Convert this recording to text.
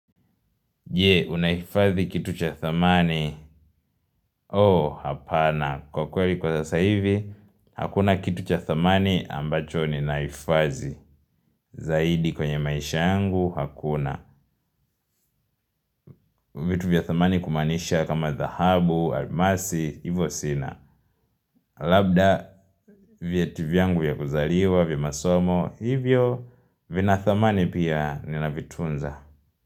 Je, unahifadhi kitu cha thamani? Oo, hapana. Kwa kweli kwa sasa hivi, hakuna kitu cha thamani ambacho ninahifadhi. Zaidi kwenye maisha yangu, hakuna. Vitu vya thamani kumaanisha kama dhahabu, almasi, hivyo sina. Labda, vyeti vyangu ya kuzaliwa, vya masomo, hivyo, vina thamani pia, ninavitunza.